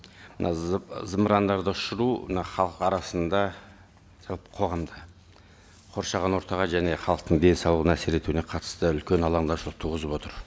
мына зымырандарды ұшыру мына халық арасында қоғамда қоршаған ортаға және халықтың денсаулығына әсер етуіне қатысты үлкен алаңдаушылық туғызып отыр